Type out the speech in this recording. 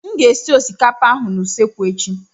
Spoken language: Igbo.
M ga-esi osikapa ahụ n'usekwu echi.